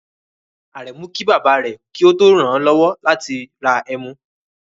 Aremu ki baba re ki o to ran an lowo lati ra emu